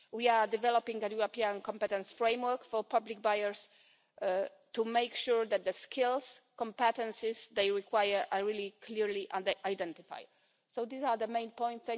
We are developing a European competence framework for public buyers to make sure that the skills competences they require are clearly identified. These are the main points.